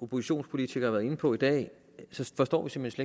oppositionspolitikere har været inde på i dag forstår vi simpelt